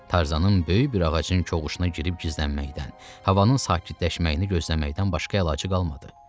Tarzanın böyük bir ağacın kovuğuna girib gizlənməkdən, havanın sakitləşməyini gözləməkdən başqa əlacı qalmadı.